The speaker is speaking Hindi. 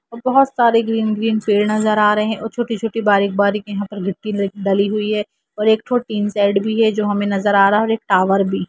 और बहुत सारे ग्रीन ग्रीन पेड़ नज़र आ रहे है और छोटी-छोटी बारीक़-बारीक़ यहाँ पे गिट्टी डली हुई है और एक थो टीन शेड भी है जो हमे नज़र आ रहा है और एक टावर भी--